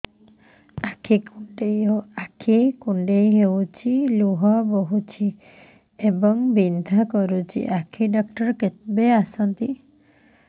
ଆଖି କୁଣ୍ଡେଇ ହେଉଛି ଲୁହ ବହୁଛି ଏବଂ ବିନ୍ଧା କରୁଛି ଆଖି ଡକ୍ଟର କେବେ ଆସନ୍ତି